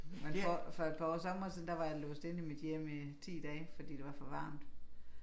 Men for for et par år somre siden der var jeg låst inde i mit hjem i 10 dage fordi det var for varmt